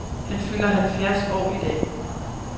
Han fylder halvfjerds år i dag.